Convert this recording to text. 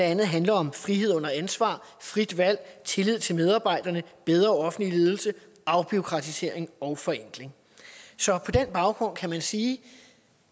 andet handler om frihed under ansvar frit valg tillid til medarbejderne bedre offentlig ledelse afbureaukratisering og forenkling så på den baggrund kan man sige at